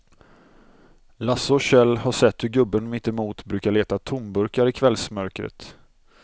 Lasse och Kjell har sett hur gubben mittemot brukar leta tomburkar i kvällsmörkret.